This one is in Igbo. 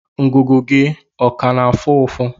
Ngụgụ gị ọ ka na-afụ ụfụ?